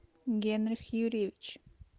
генрих юрьевич